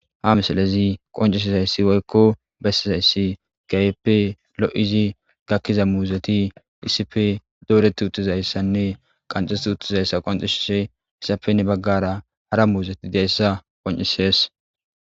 Haisilezi qoncisizaysi woyko besizaysi kehipe lo'idi gakiza muzeti issipe doreti uttizaysanne qanxeti uttidaysa qoncisishe izappe heni bagara hara muzeti dizaysa qoncises